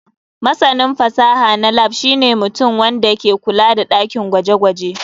Masanin fasaha na lab shine mutum wanda ke kula da dakin gwaje-gwaje.